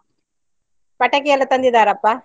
ಪಟಾಕಿ ಎಲ್ಲ ತಂದಿದ್ದಾರಾ ಅಪ್ಪ?